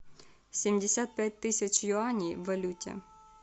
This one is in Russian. семьдесят пять тысяч юаней в валюте